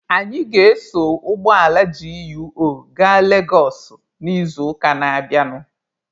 Anyị ga-eso ụgbọala GUO gaa Legosụ n'izuụka na-abịanụ.